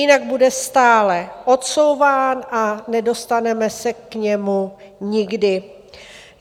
Jinak bude stále odsouván a nedostaneme se k němu nikdy.